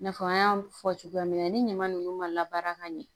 I n'a fɔ an y'a fɔ cogoya min na ni ɲama ninnu ma baara ka ɲɛ